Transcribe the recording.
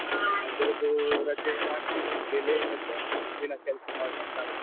ಅದ್ರದ್ದು ರಜೆ ಹಾಕಿ ಇವತ್ತು late ಎದ್ದೆ ದಿನ ಕೆಲ್ಸ ಮಾಡಿ ಮಾಡಿ ಸಾಕಾಯ್ತು.